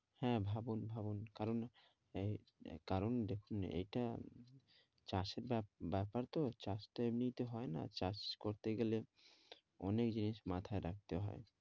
হ্যাঁ, ভাবুন, ভাবুন কারণ আহ কারণ দেখুন এইটা চাষের ব্যা ব্যাপার তো চাষ তো এমনি তে হয় না, চাষ করতে গেলে অনেক জিনিস মাথায় রাখতে হয়,